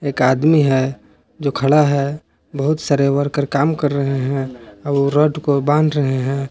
एक आदमी है जो खड़ा है बहुत सारे वर्कर काम कर रहे हैं और वो रॉड को बाध रहे हैं।